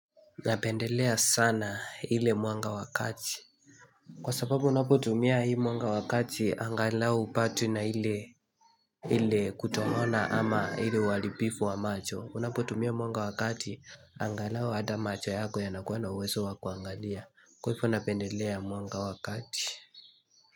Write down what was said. Napendelea sana hile mwanga wakati. Kwa sababu unapotumia hile mwanga wa kati angalau upatwi na hile kutohona ama hile walipifu wa macho. Unapotumia mwanga wakati angalau hada macho yako yanakuwa na uwezo wakuangalia. Kwa hifo napendelea mwanga wakati.